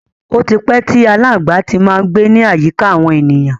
Ó tí pẹ́ tí aláǹgbá ti má ń gbé ní àyíká àwọn ènìyàn.